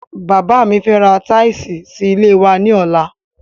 Bàbá mi fẹ́ ra tíìsì sí ilé wa ní ọlá